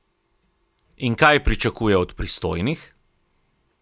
In kaj pričakuje od pristojnih?